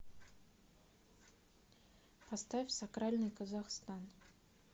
поставь сакральный казахстан